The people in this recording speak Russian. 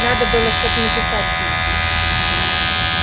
надо было что-то написать ей